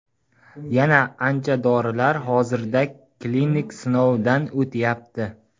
Yana ancha dorilar hozirda klinik sinovlarda o‘tyapti.